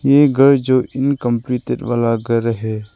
ये घर जो इनकम्प्लीटेड वाला घर है।